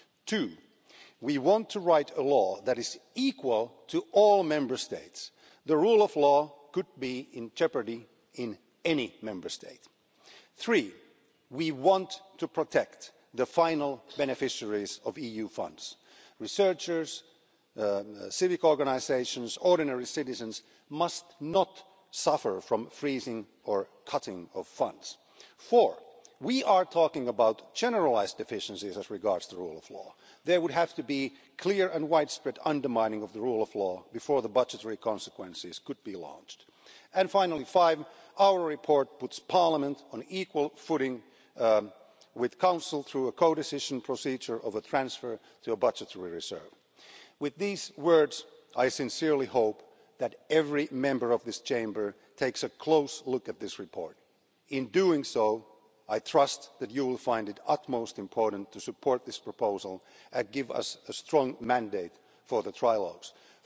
money. Two we want to write a law that is the same for all Member States. The rule of law could be in jeopardy in any Member State. Three we want to protect the final beneficiaries of EU funds researchers, civic organisations and ordinary citizens must not suffer due to the freezing or cutting of funds. Four we are talking about generalised deficiencies as regards the rule of law. There would have to be clear and widespread undermining of the rule of law before the budgetary consequences could be launched. And finally, five our report puts Parliament on an equal footing with the Council, through a co-decision procedure of a transfer to a budgetary reserve. With these words, I sincerely hope that every Member of this Chamber takes a close look at this report. When you do, I trust that you will consider it of the utmost importance to support this proposal and give us a strong mandate for